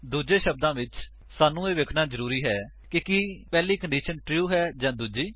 ਦੂੱਜੇ ਸ਼ਬਦਾਂ ਵਿੱਚ ਸਾਨੂੰ ਇਹ ਵੇਖਣਾ ਜਰੂਰੀ ਹੈ ਕਿ ਕੀ ਪਹਿਲੀ ਕੰਡੀਸ਼ਨ ਟਰੂ ਹੈ ਜਾਂ ਦੂਜੀ